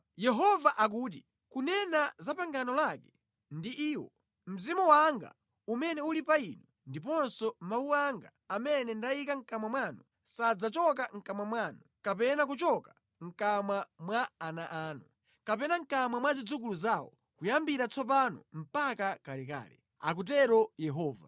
Yehova akuti, “Kunena za pangano lake ndi iwo, Mzimu wanga umene uli pa inu, ndiponso mawu anga amene ndayika mʼkamwa mwanu sadzachoka mʼkamwa mwanu, kapena kuchoka mʼkamwa mwa ana anu, kapena mʼkamwa mwa zidzukulu zawo kuyambira tsopano mpaka kalekale,” akutero Yehova.